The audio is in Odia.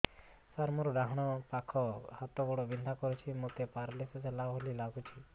ସାର ମୋର ଡାହାଣ ପାଖ ହାତ ଗୋଡ଼ ବିନ୍ଧା କରୁଛି ମୋତେ ପେରାଲିଶିଶ ହେଲା ଭଳି ଲାଗୁଛି